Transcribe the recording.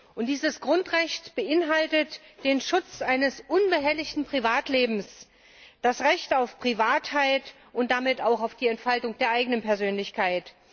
Und dieses Grundrecht beinhaltet den Schutz eines unbehelligten Privatlebens, das Recht auf Privatsphäre und damit auch auf die Entfaltung der eigenen Persönlichkeit.